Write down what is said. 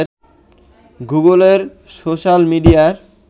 গুগলের সোশাল মিডিয়ার